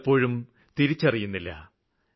അത് പലപ്പോഴും തിരിച്ചറിയുന്നില്ല